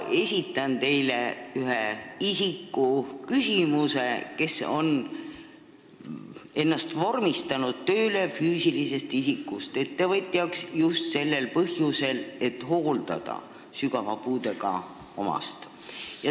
Ma edastan teile ühe isiku küsimuse, kes on ennast vormistanud tööle füüsilisest isikust ettevõtjana just sellel põhjusel, et hooldada sügava puudega omast.